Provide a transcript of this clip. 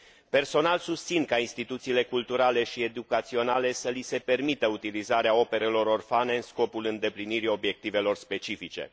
Personal, susțin ca instituțiilor culturale și educaționale să li se permită utilizarea operelor orfane, în scopul îndeplinirii obiectivelor specifice.